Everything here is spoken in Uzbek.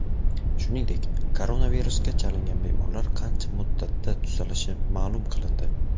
Shuningdek, koronavirusga chalingan bemorlar qancha muddatda tuzalishi ma’lum qilindi .